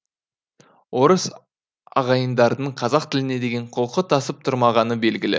орыс ағайындардың қазақ тіліне деген құлқы тасып тұрмағаны белгілі